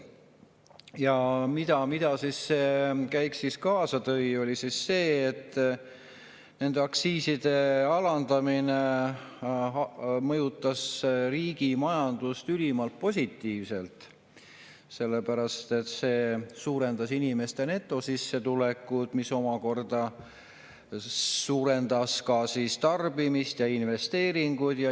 Ja mida see käik kaasa tõi, oli see, et aktsiiside alandamine mõjutas riigi majandust ülimalt positiivselt, sellepärast et see suurendas inimeste netosissetulekut, mis omakorda suurendas ka tarbimist ja investeeringuid.